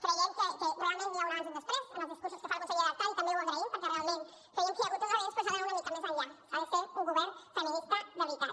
creiem que realment hi ha un abans i un després en els discursos que fa la consellera artadi també ho agraïm perquè realment creiem que hi ha hagut un avenç però s’ha d’anar una mica més enllà s’ha de ser un govern feminista de veritat